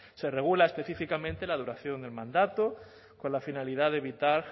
se regula específicamente la duración del mandato con la finalidad de evitar